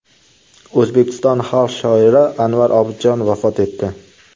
O‘zbekiston xalq shoiri Anvar Obidjon vafot etdi.